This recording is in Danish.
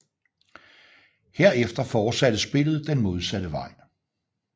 Herefter fortsætter spillet den modsatte vej